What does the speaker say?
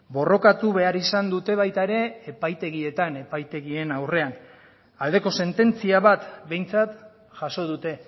borrokatu behar izan dute baita ere epaitegietan epaitegien aurrean aldeko sententzia bat behintzat jaso dute